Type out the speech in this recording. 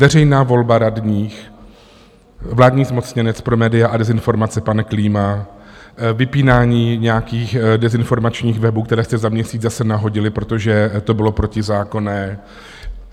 Veřejná volba radních, vládní zmocněnec pro média a dezinformace pan Klíma, vypínání nějakých dezinformačních webů, které jste za měsíc zase nahodili, protože to bylo protizákonné.